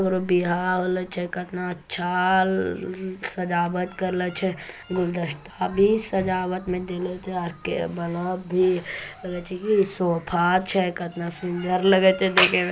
ओ बिहाला ऐ चेक न अच्छा सजावट करेल छे गुलदस्ता भी सजावट मे देने के जाके बल्ब भी लगे छे की सोफ़ा छे कितना सुंदर लगे हे देखन मे--